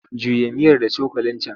Juya miyar da cokalin can!